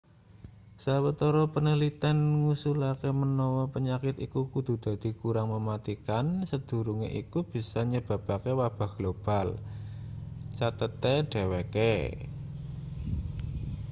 sawetara panaliten ngusulake menawa penyakit iku kudu dadi kurang mematikan sadurunge iku bisa nyebabake wabah global cathete dheweke